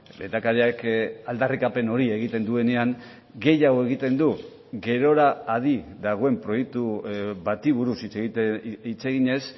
lehendakariak aldarrikapen hori egiten duenean gehiago egiten du gerora adi dagoen proiektu bati buruz hitz eginez